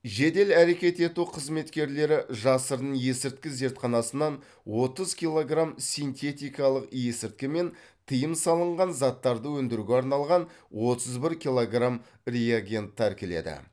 жедел әрекет ету қызметкерлері жасырын есірткі зертханасынан отыз килограмм синтетикалық есірткі мен тыйым салынған заттарды өндіруге арналған отыз бір килограмм реагент тәркіледі